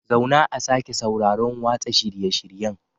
Zauna a sake sauraron watsa shirye-shiryen